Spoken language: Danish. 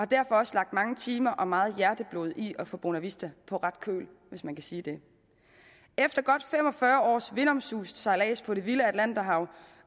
derfor også lagt mange timer og meget hjerteblod i at få bonavista på ret køl hvis man kan sige det efter godt fem og fyrre års vindomsust sejlads på det vilde atlanterhav